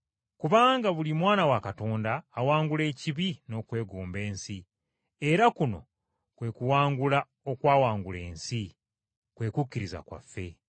kubanga buli mwana wa Katonda awangula ekibi n’okwegomba ensi, era kuno kwe kuwangula okwawangula ensi, kwe kukkiriza kwaffe.